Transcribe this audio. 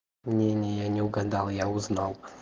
мнения я не угадал я узнал